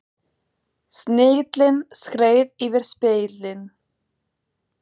Snigillinn skreið yfir spegilinn.